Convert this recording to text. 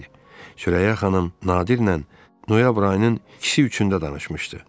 Sürəyyə xanım Nadirlə noyabr ayının 2-si üçündə danışmışdı.